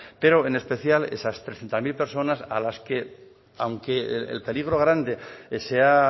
pero en especial esas trescientos mil personas a las que aunque el peligro grande se ha